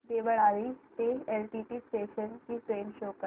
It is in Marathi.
देवळाली ते एलटीटी स्टेशन ची ट्रेन शो कर